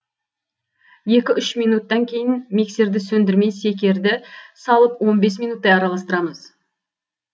екі үш минуттан кейін миксерді сөндірмей секерді салып он бес минуттай араластырамыз